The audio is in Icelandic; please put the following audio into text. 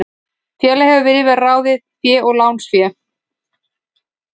Félag hefur yfir að ráða eigið fé og lánsfé.